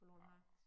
Forloren hare